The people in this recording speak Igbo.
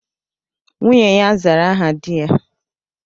Nwunye ya zara aha dị ya